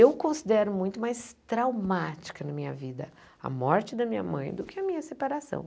Eu considero muito mais traumática na minha vida a morte da minha mãe do que a minha separação.